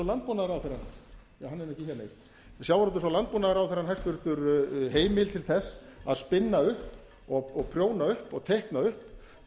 landbúnaðarráðherra hann er ekki hér nei nú fær hæstvirtur sjávarútvegs og landbúnaðarráðherra heimild til þess að spinna upp og prjóna upp og teikna upp